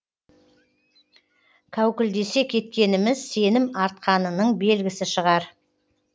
кәукілдесе кеткеніміз сенім артқанының белгісі шығар